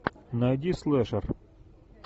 найди слэшер